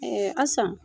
asan